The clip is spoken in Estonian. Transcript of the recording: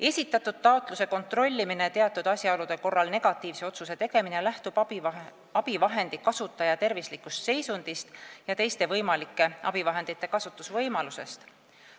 Esitatud taotluse kontrollimine ja teatud asjaolude korral negatiivse otsuse tegemine lähtub abivahendi kasutaja tervislikust seisundist ja teiste võimalike abivahendite kasutamise võimalusest.